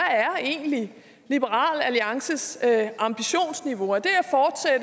egentlig er liberal alliances ambitionsniveau er det